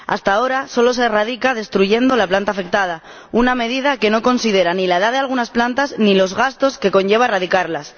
Hasta ahora solo se erradica destruyendo la planta afectada, una medida que no considera ni la edad de algunas plantas ni los gastos que conlleva erradicarlas.